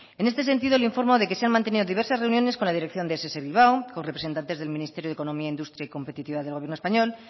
en este sentido le informo de que se han mantenido diversas reuniones con la dirección de ess bilbao con representantes del ministerio de economía industria y competitividad del gobierno español